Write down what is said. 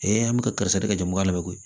an bɛ ka karisa de ka jamu ka labɛn koyi